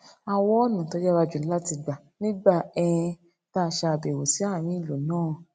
a wá ònà tó yára jù láti gbà nígbà um tá a ṣe àbèwò sí àárín ìlú náà